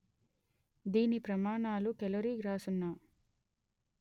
దీని ప్రమాణాలు కెలోరీ/గ్రాసున్న